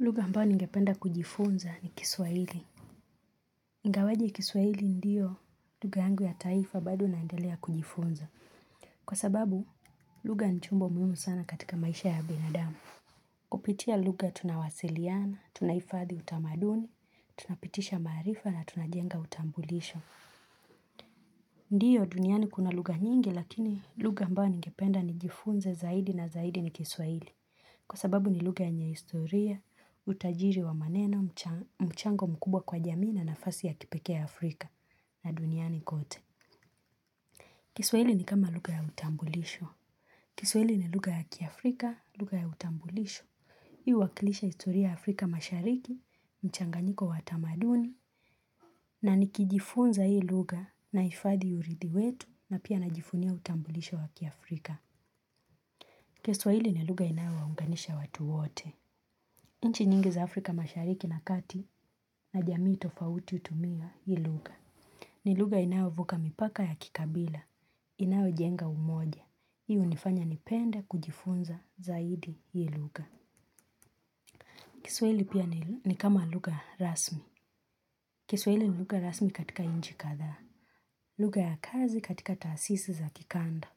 Lugha ambayo ningependa kujifunza ni Kiswahili. Ingawaje Kiswahili ndiyo lugha yangu ya taifa, bado naendelea kujifunza. Kwa sababu lugha ni chombo muhimu sana katika maisha ya binadamu. Kupitia lugha tunawasiliana, tunahifadhi utamaduni, tunapitisha maarifa na tunajenga utambulisho. Ndiyo, duniani kuna lugha nyingi, lakini lugha ambayo ningependa kujifunza zaidi na zaidi ni Kiswahili. Kwa sababu ni lugha yenye historia, utajiri wa maneno, mchango mkubwa kwa jamii na nafasi ya kipekee Afrika na duniani kote. Kiswahili ni kama lugha ya utambulisho Kiswahili ni lugha ya kiafrika, lugha ya utambulisho. Huwakilisha historia ya Afrika Mashariki, mchanganyiko wa tamaduni, na nikijifunza hii lugha nahifadhi urithi wetu na pia najivunia utambulisho wa kiafrika. Kiswahili ni lugha inayowaunganisha watu wote. Nchi nyingi za Afrika Mashariki na Kati na jamii tofauti hutumia hii lugha. Ni lugha inayovuka mipaka ya kikabila, inayojenga umoja. Hii hunifanya nipende kujifunza zaidi hii lugha. Kiswahili pia ni kama lugha rasmi. Kiswahili ni lugha rasmi katika nchi kadhaa. Lugha ya kazi katika taasisi za kikanda.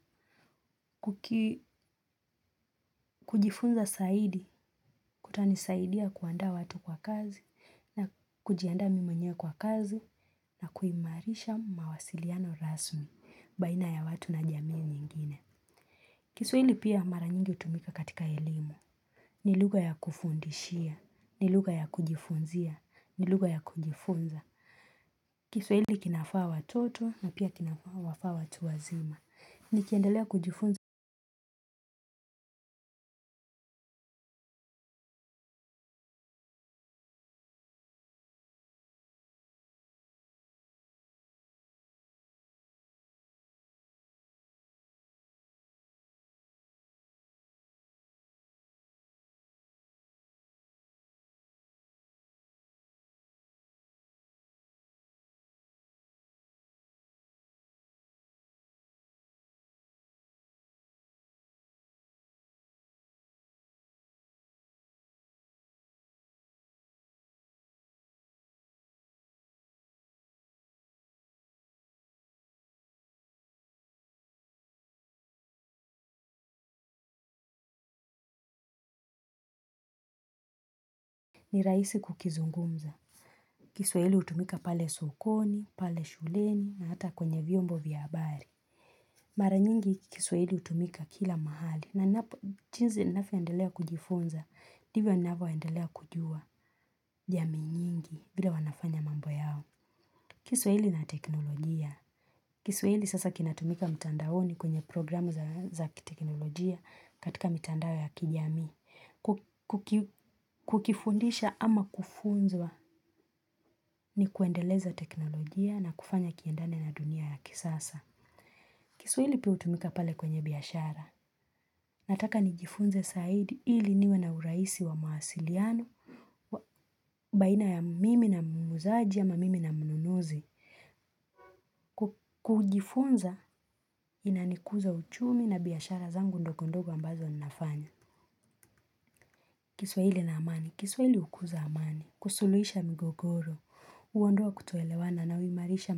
Kujifunza zaidi, kutanisaidia kuandaa watu kwa kazi, na kujiandaa mimi mwenyewe kwa kazi na kuimarisha mawasiliano rasmi baina ya watu na jamii nyingine. Kiswahili pia mara nyingi hutumika katika elimu. Ni lugha ya kufundishia, ni lugha ya kujifunzia, ni lugha ya kujifunza. Kiswahili kinafaa watoto na pia kinafaa watu wazima. Nikiendelea kujifunza ni raisi kukizungumza. Kiswahili hutumika pale sokoni, pale shuleni na hata kwenye vyombo vya habari. Mara nyingi Kiswahili hutumika kila mahali, na jinsi ninavyoendelea kujifunza, ndivyo naendelea kujua jamii nyingi vile wanafanya mambo yao. Kiswa hili na teknolojia. Kiswahili sasa kinatumika mtandaoni, kwenye programu za kiteknolojia, katika mitandao ya kijamii. Kukifundisha ama kufunzwa ni kuendeleza teknolojia na kufanya kiendane na dunia ya kisasa. Kiswahili pia hutumika pale kwenye biashara. Nataka nijifunze zaidi ili niwe na urahisi wa mawasiliano, baina ya mimi na muuzaji ama mimi na mnunuzi. Kujifunza inanakuza uchumi na biashara zangu ndogondogo ambazo ninafanya. Kiswahili na amani. Kiswahili hukuza amani. Kusuluhisha mgogoro. Huondoa kutoelewana na huimarisha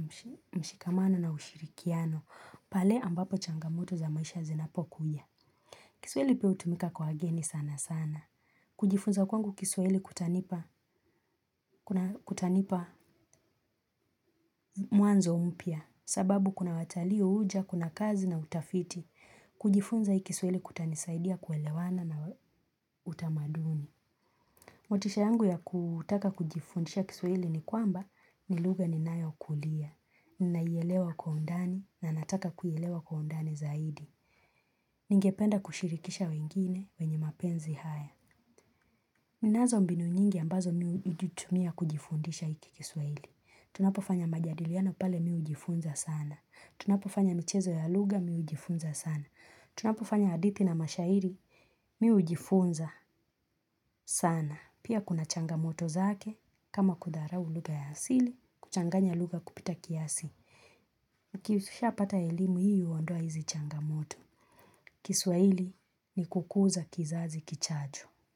mshikamano na ushirikiano. Pale ambapo changamoto za maisha zinapokuja. Kiswahili pia hutumika kwa wageni sana sana. Kujifunza kwangu kiswahili kutanipa mwanzo mpya. Sababu kuna watalii huja, kuna kazi na utafiti. Kujifunza hii kiswaili kutanisaidia kuelewana na utamaduni. Motisha yangu ya kutaka kujifundisha Kiswahili ni kwamba ni lugha ninayokulia, ninaielewa kwa undani na nataka kuielewa kwa undani zaidi. Ningependa kushirikisha wengine wenye mapenzi haya. Ninazo mbinu nyingi ambazo mimi hutumia kujifundisha hiki kiswahili. Tunapofanya majadiliano pale mimi hujifunza sana. Tunapofanya michezo ya lugha mimi hujifunza sana. Tunapofanya hadithi na mashairi mimi hujifunza sana. Pia kuna changamoto zake, kama kudharau lugha ya asili, kuchanganya lugha kupita kiasi. Ukishapata elimu hii huondoa hizi changamoto. Kiswahili ni kukuza kizazi kijacho.